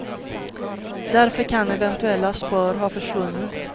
Därför kan eventuella spår ha försvunnit.